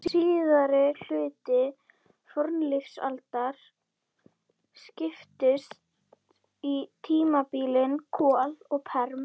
Síðari hluti fornlífsaldar skiptist í tímabilin kol og perm.